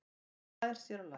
Hann slær sér á lær.